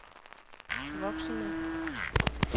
voksende